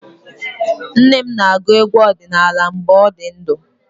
Nne m na-agụ egwu ọdinala mgbe ọ dị ndụ.